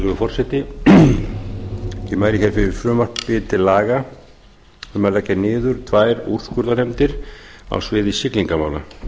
virðulegi forseti ég mæli fyrir frumvarpi til laga um að leggja niður tvær úrskurðarnefndir á sviði siglingamála